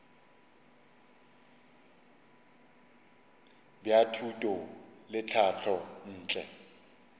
bja thuto le tlhahlo ntle